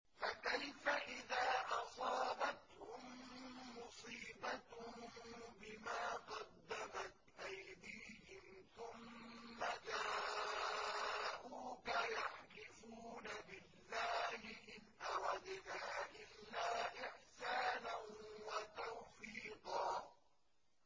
فَكَيْفَ إِذَا أَصَابَتْهُم مُّصِيبَةٌ بِمَا قَدَّمَتْ أَيْدِيهِمْ ثُمَّ جَاءُوكَ يَحْلِفُونَ بِاللَّهِ إِنْ أَرَدْنَا إِلَّا إِحْسَانًا وَتَوْفِيقًا